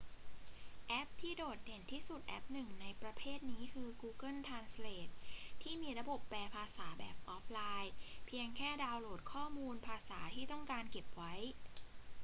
แอปที่โดดเด่นที่สุดแอปหนึ่งในประเภทนี้คือ google translate ที่มีระบบแปลภาษาแบบออฟไลน์ เพียงแค่ดาวน์โหลดข้อมูลภาษาที่ต้องการเก็บไว้